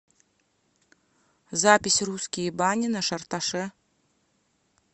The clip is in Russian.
запись русские бани на шарташе